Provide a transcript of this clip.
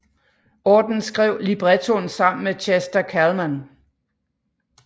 Auden skrev librettoen sammen med Chester Kallman